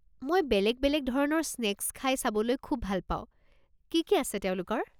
মই বেলেগ বেলেগ ধৰণৰ স্নেক্স খাই চাবলৈ খুব ভাল পাওঁ, কি কি আছে তেওঁলোকৰ?